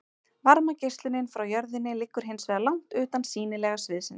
varmageislunin frá jörðinni liggur hins vegar langt utan sýnilega sviðsins